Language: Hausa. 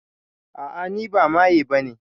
A'a ni ba maye bane